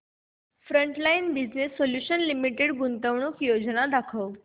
frontline Business Solutions Limited गुंतवणूक योजना दाखव